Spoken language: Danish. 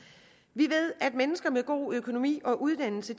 vi ved at mennesker med god økonomi og uddannelse